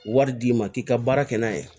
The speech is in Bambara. Wari d'i ma k'i ka baara kɛ n'a ye